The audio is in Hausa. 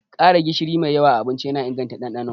Ƙara gishiri a abinci yana inganta ɗanɗano.